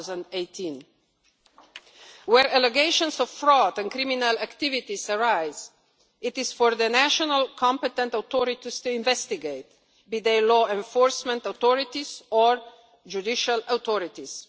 2018. Where allegations of fraud and criminal activities arise, it is for the national competent authorities to investigate, be they law enforcement authorities or judicial authorities.